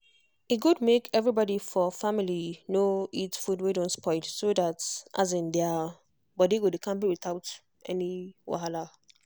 e good make everybody for family no eat food wey don spoil so that their body go dey kampe without any wahala.